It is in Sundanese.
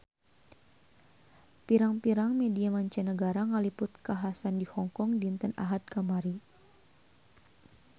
Pirang-pirang media mancanagara ngaliput kakhasan di Hong Kong dinten Ahad kamari